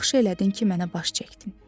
Yaxşı elədin ki, mənə baş çəkdin.